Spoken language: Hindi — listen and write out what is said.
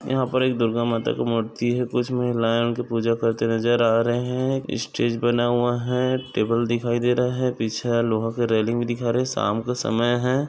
यहा पर एक दुर्गा माता का मूर्ति है कुछ महिलाये उनकी पूजा करते नजर आ रहे है स्टेज बना हुआ है टेबल दिखाई दे रहा है पीछे लोहा का रेलिंग भी दिखा रहे है शाम का समय है।